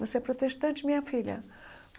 Você é protestante, minha filha.